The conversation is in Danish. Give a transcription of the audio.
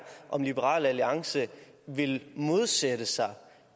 om liberal alliance vil modsætte sig